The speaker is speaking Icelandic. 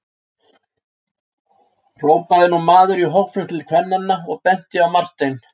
hrópaði nú maður í hópnum til kvennanna og benti á Martein.